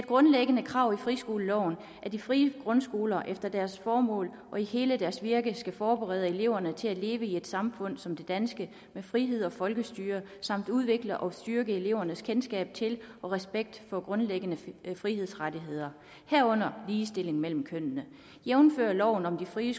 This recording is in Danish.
grundlæggende krav i friskoleloven at de frie grundskoler efter deres formål og i hele deres virke skal forberede eleverne til at leve i et samfund som det danske med frihed og folkestyre samt udvikle og styrke elevernes kendskab til og respekt for grundlæggende frihedsrettigheder herunder ligestilling mellem kønnene jævnfør loven om frie